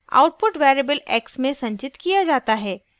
* output variable x में संचित किया जाता है